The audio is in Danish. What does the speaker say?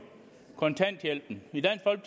kontanthjælpen